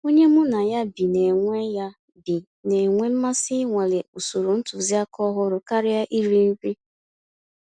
Ònyé mụ́ ná yá bí ná-ènwé yá bí ná-ènwé mmàsí ìnwàlé ụ̀sòrò ntụ̀zìàkà ọ̀hụ́rụ́ kàríà írì nrí.